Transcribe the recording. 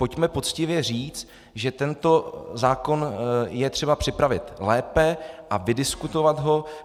Pojďme poctivě říct, že tento zákon je třeba připravit lépe a vydiskutovat ho.